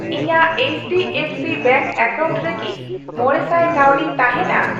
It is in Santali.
ᱤᱧᱟᱜ ᱮᱭᱤᱪᱰᱤᱮᱯᱷᱥᱤ ᱵᱮᱝᱠ ᱮᱠᱟᱣᱩᱱᱴ ᱨᱮ ᱠᱤ ᱢᱚᱲᱮᱥᱟᱭ ᱠᱟᱹᱣᱰᱤ ᱛᱟᱦᱮᱱᱟ ?